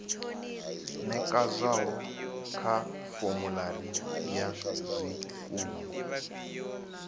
nekedzwaho kha formulary ya zwikimu